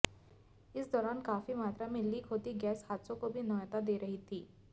इस दौरान काफी मात्रा में लीक होती गैस हादसों को भी न्यौता दे रही थी